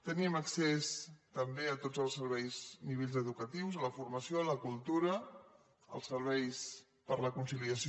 teníem accés també a tots els serveis nivells educatius a la formació a la cultura els serveis per a la conciliació